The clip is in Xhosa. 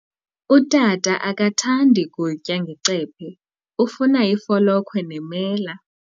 Utata akathandi kutya ngecephe, ufuna ifolokhwe nemela.